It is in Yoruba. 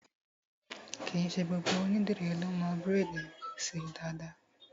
Kìí ṣe gbogbo ònídìrí lọ mo braids ṣe dáadáa.